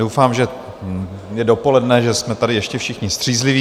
Doufám, že je dopoledne, že jsme tady ještě všichni střízliví.